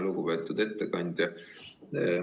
Lugupeetud ettekandja!